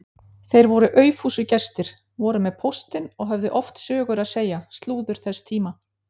Þeir voru aufúsugestir, voru með póstinn og höfðu oft sögur að segja, slúður þess tíma.